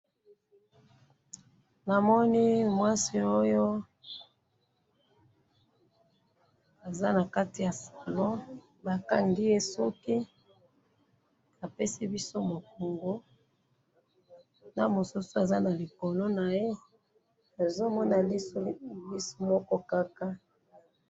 namoni mwasi oyo aza nakati ya salon bakangiye suki apesi biso mukongo na mosusu aza na likolo naye azomona lisu moko kaka.